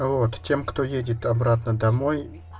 вот тем кто едет обратно домой